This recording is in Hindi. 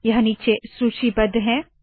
यह नीचे सूचीबद्ध है